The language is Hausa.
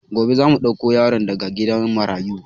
Gobe zamu ɗauko yaro daga gidan marayu